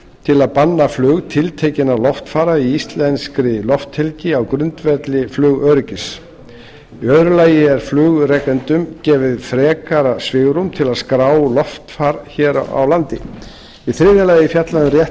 til að banna flug tiltekinna loftfara í íslenskri lofthelgi á grundvelli flugöryggis í öðru lagi er flugrekendum gefið frekara svigrúm til að skrá loftfar hér á landi í þriðja lagi er fjallað um rétt